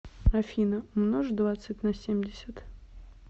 афина умножь двадцать на семьдесят